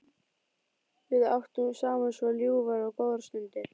Við áttum saman svo ljúfar og góðar stundir.